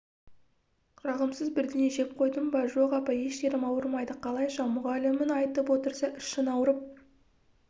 жағымсыз бірдеңе жеп қойдың ба жоқ апа еш жерім ауырмайды қалайша мұғалімің айтып отырса ішің ауырып